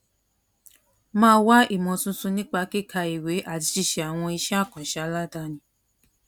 máa wá ìmò tuntun nípa kíka ìwé àti ṣíṣe àwọn iṣẹ àkànṣe aládani